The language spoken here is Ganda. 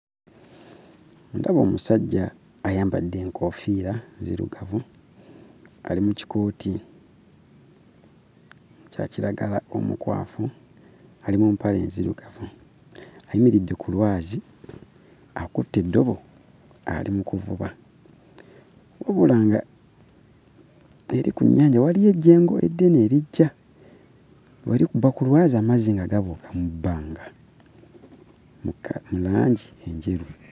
Ndaba omusajja ayambadde enkoofiira nzirugavu, ali mu kikooti kya kiragala omukwafu, ali mu mpale nzirugavu. Ayimiridde ku lwazi akutte eddobo ali mu kuvuba, wabula ng'eri ku nnyanja waliwo ejjengo eddene erijja. We likuba ku lwazi amazzi nga gabuuka mu bbanga mu langi enjeru.